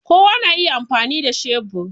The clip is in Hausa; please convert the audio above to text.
Kowa na iya amfani da shebur